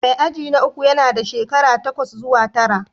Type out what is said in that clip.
Mai aji na uku yana da shekara takwas zuwa tara